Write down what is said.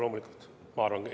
Loomulikult!